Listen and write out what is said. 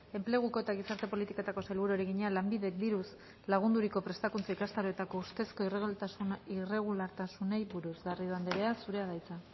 enpleguko eta gizarte politiketako sailburuari egina lanbidek diruz lagunduriko prestakuntza ikastaroetako ustezko irregulartasunei buruz garrido andrea zurea da hitza